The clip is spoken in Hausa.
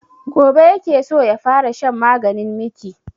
Gobe ya ke so ya fara shan maganin miki